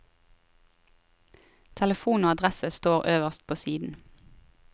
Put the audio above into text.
Telefon og adresse står øverst på siden.